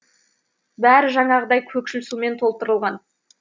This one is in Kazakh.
бәрі жаңағыдай көкшіл сумен толтырылған